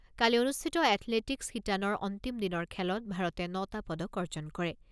কালি অনুষ্ঠিত এথলেটিকছ শিতানৰ অন্তিম দিনৰ খেলত ভাৰতে ন টা পদক অৰ্জন কৰে।